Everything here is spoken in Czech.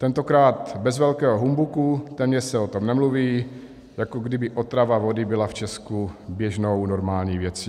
Tentokrát bez velkého humbuku, téměř se o tom nemluví, jako kdyby otrava vody byla v Česku běžnou, normální věcí.